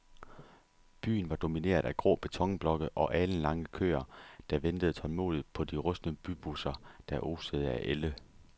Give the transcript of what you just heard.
Byen var domineret af grå betonblokke og alenlange køer, der ventede tålmodigt på de rustne bybusser, der osede af ælde.